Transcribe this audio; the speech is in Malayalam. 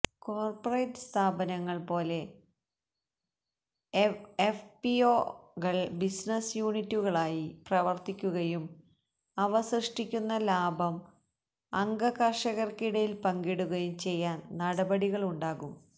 കോര്പ്പറേറ്റ് സ്ഥാപനങ്ങള് പോലെ എഫ്പിഒകള് ബിസിനസ്സ് യൂണിറ്റുകളായി പ്രവര്ത്തിക്കുകയും അവ സൃഷ്ടിക്കുന്ന ലാഭം അംഗ കര്ഷകര്ക്കിടയില് പങ്കിടുകയും ചെയ്യാന് നടപടികളുണ്ടാകും